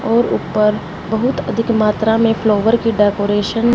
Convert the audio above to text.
और ऊपर बहुत अधिक मात्रा में फ्लावर की डेकोरेशन --